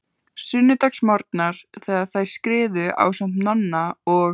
Sunnudagsmorgnar þegar þær skriðu, ásamt Nonna og